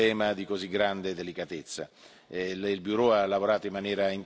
i nostri palazzi su un tema di così grande delicatezza.